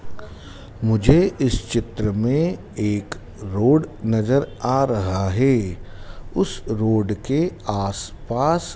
मुझे इस चित्र में एक रोड नजर आ रहा है उस रोड के आसपास--